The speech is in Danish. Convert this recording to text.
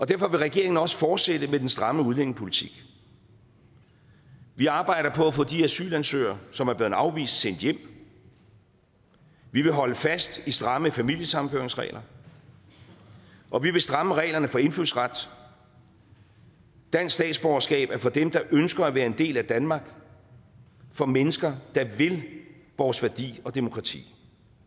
derfor vil regeringen også fortsætte med den stramme udlændingepolitik vi arbejder på at få de asylansøgere som er blevet afvist sendt hjem vi vil holde fast i stramme familiesammenføringsregler og vi vil stramme reglerne for indfødsret dansk statsborgerskab er for dem der ønsker at være en del af danmark for mennesker der vil vores værdi og demokrati